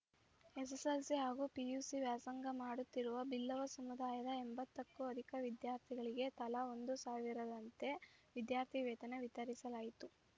SSLC ಹಾಗೂ PUC ವ್ಯಾಸಂಗ ಮಾಡುತ್ತಿರುವ ಬಿಲ್ಲವ ಸಮುದಾಯದ ಎಂಬತ್ತಕ್ಕೂ ಅಧಿಕ ವಿದ್ಯಾರ್ಥಿಗಳಿಗೆ ತಲಾ ಒಂದು ಸಾವಿರದಂತೆ ವಿದ್ಯಾರ್ಥಿ ವೇತನ ವಿತರಿಸಲಾಯಿತು